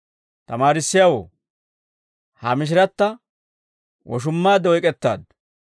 «Tamaarissiyaawoo, ha mishiratta woshummaadde oyk'ettaaddu.